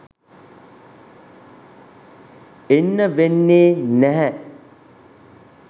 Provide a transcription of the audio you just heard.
එන්න වෙන්නේ නැහැ.